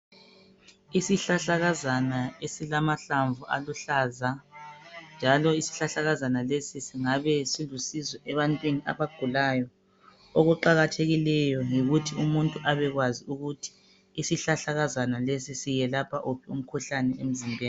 Isihlahlakazana esilamahlamvu aluhlaza njalo isihlahlakazana lesi singabe silusizo ebantwini abagulayo okuqakathekikeyo yikuthi umuntu abekwazi ukuthi isihlahlakazana lesi siyelapha wuphi umkhuhlane emzimbeni.